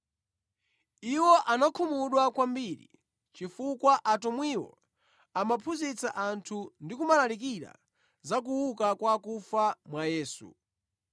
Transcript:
Iwo anakhumudwa kwambiri chifukwa atumwiwo amaphunzitsa anthu ndi kumalalikira za kuuka kwa akufa mwa Yesu.